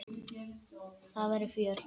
Það verður fjör.